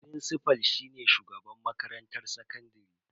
Frincifal shine shugaban makarantar sakandare.